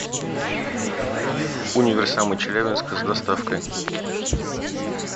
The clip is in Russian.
универсамы челябинска с доставкой